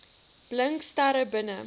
blink sterre binne